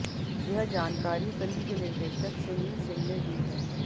यह जानकारी फिल्म के निर्देशक सुनील सिंह ने दी है